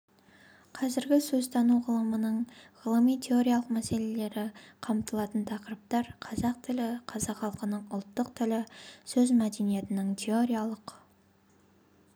қазіргі сөзтану ғылымының ғылыми-теориялық мәселелері қамтылатын тақырыптар қазақ тілі қазақ халқының ұлттық тілі сөз мәдениетінің теориялық